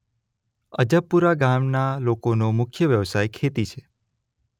અજબપુરા ગામના લોકોનો મુખ્ય વ્યવસાય ખેતી છે.